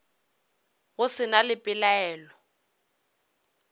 go se na le pelaelo